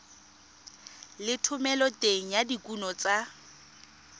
le thomeloteng ya dikuno tsa